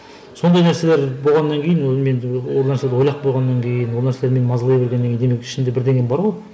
сондай нәрселер болғаннан кейін ол мен ол нәрсені ойлап қойғаннан кейін ол нәрсе мені мазалай бергеннен кейін демек ішімде бірдеңем бар ғой